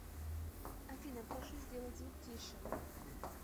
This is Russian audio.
афина прошу сделать звук тише